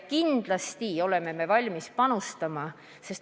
Kindlasti oleme valmis sellesse panustama.